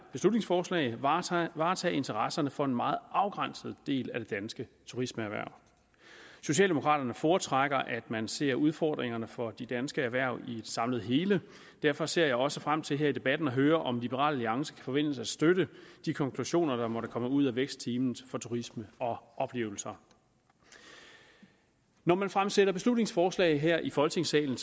beslutningsforslag varetage varetage interesserne for en meget afgrænset del af det danske turismehverv socialdemokraterne foretrækker at man ser udfordringerne for de danske erhverv i et samlet hele og derfor ser jeg også frem til her i debatten at høre om liberal alliance kan forventes at støtte de konklusioner der måtte komme ud af vækstteam for turisme og oplevelser når man fremsætter beslutningsforslag her i folketingssalen